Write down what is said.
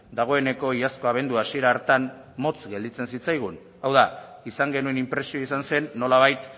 dagoeneko iazko abendua hasiera hartan motz gelditzen zitzaigun hau da izan genuen inpresio izan zen nolabait